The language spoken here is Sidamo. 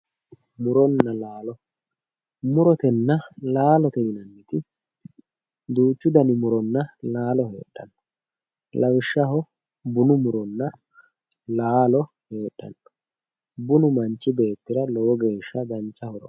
Muronna laalo, muronna laalote yineemmoti duuchu dani murona laalo heedhano lawishshaho bunu muronna laalo heedhano bunu manchi beettira lowo geeshsha dancha horo aano.